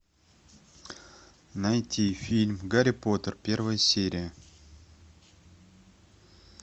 найти фильм гарри поттер первая серия